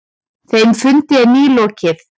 Þeim fundi er nýlokið.